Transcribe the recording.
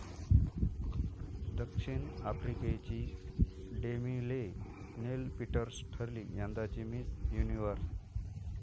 द.आफ्रिकेची Demi Leigh Nel Peters ठरली यंदाची Miss universe